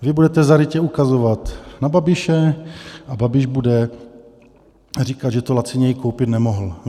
Vy budete zarytě ukazovat na Babiše a Babiš bude říkat, že to laciněji koupit nemohl.